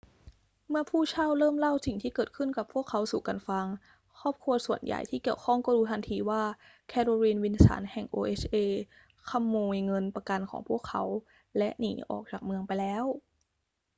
เมื่อผู้เช่าเริ่มเล่าสิ่งที่เกิดขึ้นกับพวกเขาสู่กันฟัง ครอบครัวส่วนใหญ่ที่เกี่ยวข้องก็รู้ทันทีว่า แคโรลีน วิลสัน แห่ง oha ขโมยเงินประกันของพวกเขาและหนีออกจากเมืองไปแล้ว